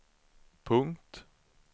punkt